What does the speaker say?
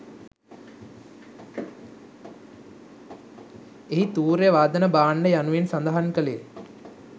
එහි තූර්යවාදන භාණ්ඩ යනුවෙන් සඳහන් කළේ